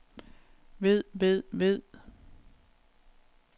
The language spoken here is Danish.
ved ved ved